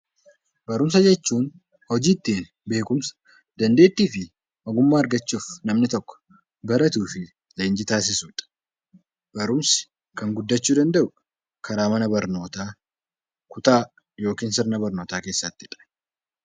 Barumsa jechuun hojii ittiin beekumsa, dandeettii fi ogummaa argachuuf namni tokko baratuu fi leenjii taasisudha. Barumsi kan guddachuu danda'u karaa mana barnootaa, kutaa yookiin sirna barnootaa keessattidha.